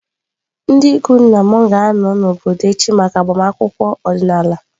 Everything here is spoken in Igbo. Ndị ikwu nna m ga-anọ n’obodo echi maka agbamakwụkwọ ọdịnala.